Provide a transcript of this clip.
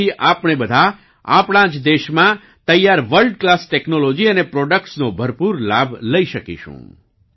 તેનાથી આપણે બધા આપણા જ દેશમાં તૈયાર વર્લ્ડ ક્લાસ ટેક્નોલોજી અને પ્રોડક્ટ્સનો ભરપૂર લાભ લઈ શકીશું